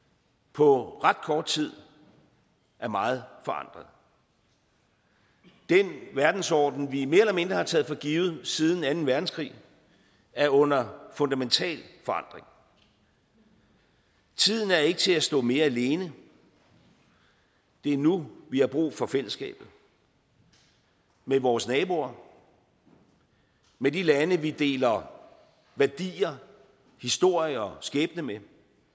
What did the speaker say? på ret kort tid er meget forandret den verdensorden vi mere eller mindre har taget for givet siden anden verdenskrig er under fundamental forandring tiden er ikke til at stå mere alene det er nu vi har brug for fællesskabet med vores naboer med de lande vi deler værdier historie og skæbne med